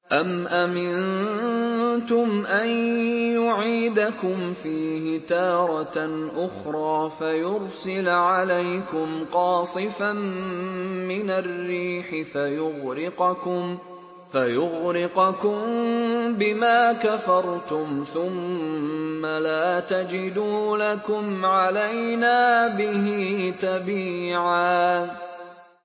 أَمْ أَمِنتُمْ أَن يُعِيدَكُمْ فِيهِ تَارَةً أُخْرَىٰ فَيُرْسِلَ عَلَيْكُمْ قَاصِفًا مِّنَ الرِّيحِ فَيُغْرِقَكُم بِمَا كَفَرْتُمْ ۙ ثُمَّ لَا تَجِدُوا لَكُمْ عَلَيْنَا بِهِ تَبِيعًا